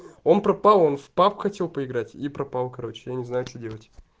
он пропал он в паб хотел поиграть и пропал короче я не знаю что делать